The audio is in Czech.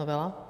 Novela.